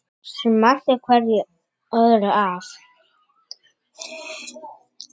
Smellti öðru hverju af.